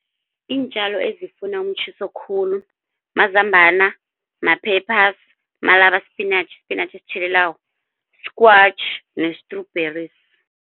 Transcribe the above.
Iintjalo ezifuna umtjhiso khulu mazambana, ma-peppers, malabar spinach spinatjhi esitjhelelako, squash ne-strawberries.